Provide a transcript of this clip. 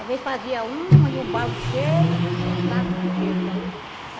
Às vezes fazia um e o balde cheio e o saco cheio também.